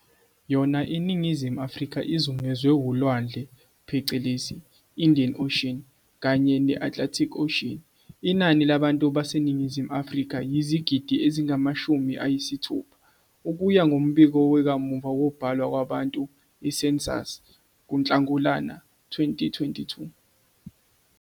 Yona iNingizimu Afrika izungezwe ulwandle phecelezi "Indian Ocean" kanye ne-Atlantic Ocean. Inani labantu baseNingizimu Afrika yizigidi ezingamashumi ayisithupha, ukuya ngombiko wakamuva wokubalwa kwabantu, i-Census, June 2022.